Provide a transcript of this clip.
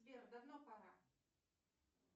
сбер давно пора